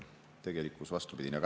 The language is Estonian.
Tegelikkus on vastupidine.